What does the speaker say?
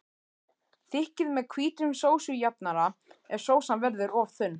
Þykkið með hvítum sósujafnara ef sósan verður of þunn.